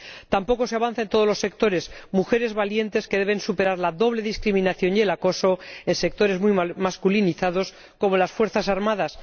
Tampoco se avanza en todos los sectores mujeres valientes que deben superar la doble discriminación y el acoso en sectores muy masculinizados, como las fuerzas armadas.